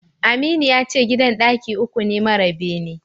Aminu yace gidan ɗaki uku ne mara bene.